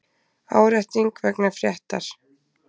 Árétting vegna fréttar